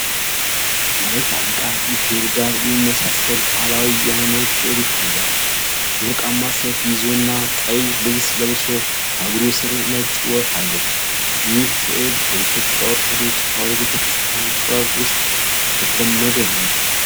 ከመላእክት አለቃ ሚካኤል ጋር የሚመሳሰል ባህላዊ የሃይማኖት ሥዕል ይታያል። ወርቃማ ሰይፍ ይዞና ቀይ ልብስ ለብሶ፣ ከእግሩ ስር ነጭ ወፍ አለች። ይህ ሥዕል በኢትዮጵያ ኦርቶዶክስ ተዋሕዶ ቤተ ክርስቲያን ጥበብ ውስጥ የተለመደ ነውን?